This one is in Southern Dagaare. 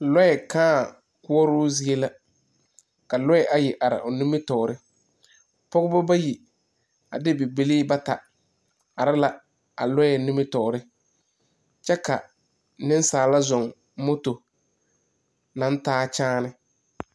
Yie la are a mare mare taa a yie ama mine kyɛnse e la zee ka a mine meŋ e peɛle a yie sensɔglensɔga ka sokpoŋ are loori kaŋa be la sokpoŋ zu a e zee a zoro.